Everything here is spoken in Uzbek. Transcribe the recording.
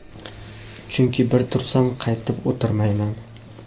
chunki bir tursam qaytib o‘tirmayman..